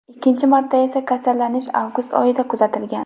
Ikkinchi marta esa kasallanish avgust oyida kuzatilgan.